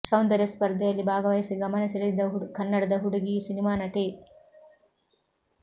ಸೌಂದರ್ಯ ಸ್ಪರ್ಧೆಯಲ್ಲಿ ಭಾಗವಹಿಸಿ ಗಮನ ಸೆಳೆದಿದ್ದ ಕನ್ನಡದ ಹುಡುಗಿ ಈಗ ಸಿನಿಮಾ ನಟಿ